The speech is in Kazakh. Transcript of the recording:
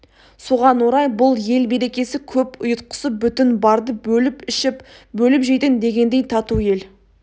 соған орай бұл ел берекесі көп ұйтқысы бүтін барды бөліп ішіп бөліп жейтін дегендей тату ел